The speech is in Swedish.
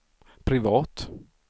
privat